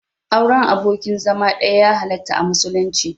Auren abokin zama ɗaya ya halarta a musulunci.